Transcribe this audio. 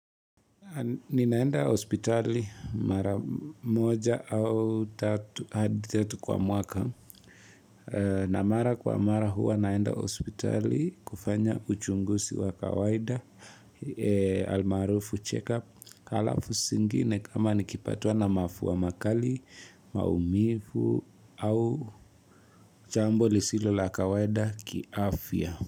Ninaenda hospitali mara moja au tatu hadi tatu kwa mwaka na mara kwa mara huwa naenda hospitali kufanya uchunguzi wa kawaida almarufu check up alafu zingine kama nikipatwa na mafua makali maumivu au chambo lisilo la kawaida kiafya.